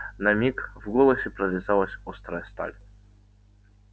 на миг в голосе прорезалась острая сталь